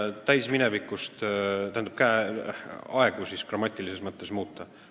Sa kasutad täisminevikku, tähendab, muudad grammatilisi aegu!